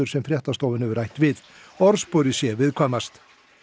sem fréttastofan hefur rætt við orðsporið sé viðkvæmast